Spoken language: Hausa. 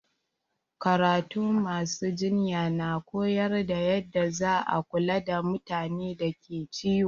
Karatun ma su jinya na koyar da yanda za a kula da mutanen da ke ciwo.